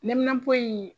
Neminanpo in